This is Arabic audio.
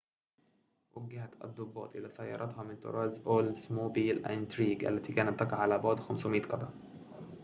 وجّهت الضباط إلى سيارتها من طراز اولدزموبيل انتريج التي كانت تقع على بعد 500 قدم